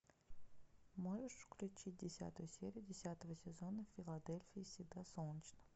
можешь включить десятую серию десятого сезона в филадельфии всегда солнечно